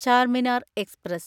Charminar express